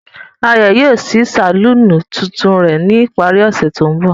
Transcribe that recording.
Ayo yoo ṣii saluni tuntun rẹ ni ipari ose to nbọ.